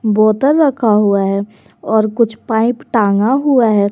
बोतल रखा हुआ है और कुछ पाइप टांगा हुआ है।